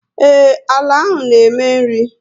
Ee, àlà áhù na eme nri